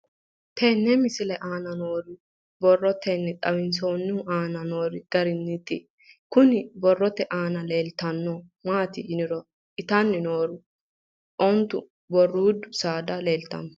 Tenne misile aana noore borroteni xawiseemohu aane noo gariniiti. Kunni borrote aana leelanori maati yiniro Itanni noori ontu barruudde saada leeltanoe.